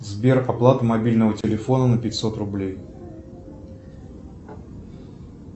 сбер оплата мобильного телефона на пятьсот рублей